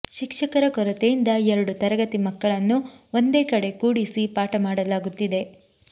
ಶಿಕ್ಷಕರ ಕೊರತೆಯಿಂದ ಎರಡು ತರಗತಿ ಮಕ್ಕಳನ್ನು ಒಂದೇ ಕಡೆ ಕೂಡಿಸಿ ಪಾಠ ಮಾಡಲಾಗುತ್ತಿದೆ